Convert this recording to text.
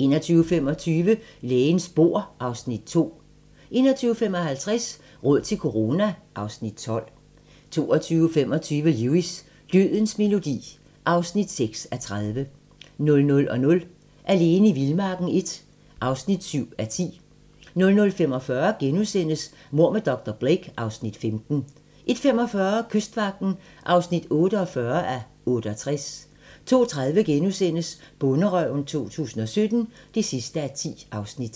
21:25: Lægens bord (Afs. 2) 21:55: Råd til corona (Afs. 12) 22:25: Lewis: Dødens melodi (6:30) 00:00: Alene i vildmarken I (7:10) 00:45: Mord med dr. Blake (Afs. 15)* 01:45: Kystvagten (48:68) 02:30: Bonderøven 2017 (10:10)*